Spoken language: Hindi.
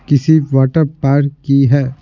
किसी वाटर पार्क की है।